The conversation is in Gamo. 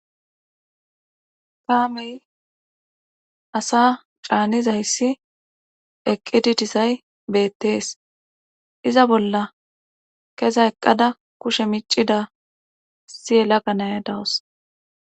aame asa caanizayssi eqqidi dizay beetees. Iza bolla keza eqqada kushe miccida issi yelaga nayiya dawus.